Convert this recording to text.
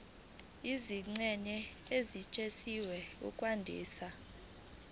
izingxenye ezisetshenziswa ukwandisa